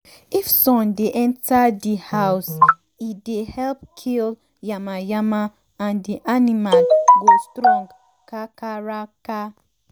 if sun dey enter di house e dey help kill yamayama and di animal go strong kakaraka.